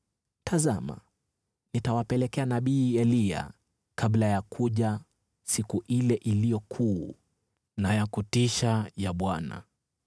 “Tazama, nitawapelekea nabii Eliya kabla ya kuja siku ile iliyo kuu na ya kutisha ya Bwana .